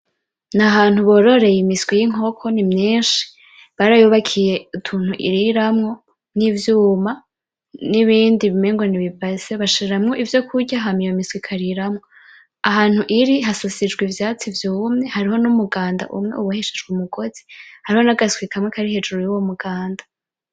N'ahantu bororeye imiswi yinkoko, ni myinshi. Barayubakiye utuntu iriramwo, nivyuma, nibindi umenga nibi base. Bashiramwo ivyo kurya hama iyo miswi ikariramwo. Ahantu iri hasasijwe ivyatsi vyumye. Hariho numuganda umwe uboheshejwe umugozi. Hariho nagaswi kamwe kari hejuru yuwo muganda.